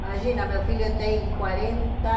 Imagina, meu filho tem quarenta